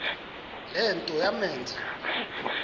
le nto yamenza